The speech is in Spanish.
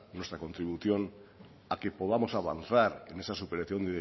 nuestra contribución a que podamos avanzar en esa superación